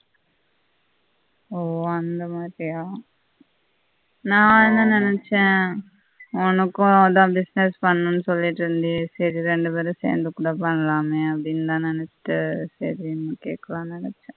ஓ அந்த மாதிரியா நான் என்ன நெனச்ச உனக்கும் எதாவது business பண்ணனும் சொல்லிட்டு இருந்தியெ சரி ரெண்டு பெரும் சேர்ந்து கூட பண்ணலாமே அப்பிடின்னு நான் நெனச்ச சரின்னு கேட்கலாம் நெஞ்ச